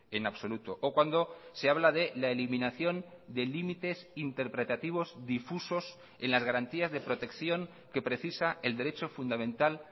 en absoluto o cuando se habla de la eliminación de límites interpretativos difusos en las garantías de protección que precisa el derecho fundamental